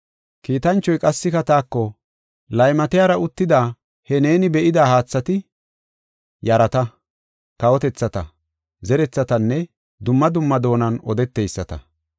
Kiitanchoy qassika taako, “Laymatiyara uttida he neeni be7ida haathati yarata, kawotethata, zerethatanne dumma dumma doonan odeteyisata.